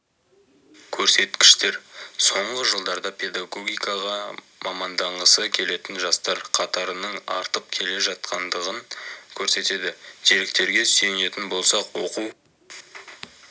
көрсеткіштер соңғы жылдарда педагогикаға маманданғысы келетін жастар қатарының артып келе жатқандығын көрсетеді деректерге сүйенетін болсақ оқу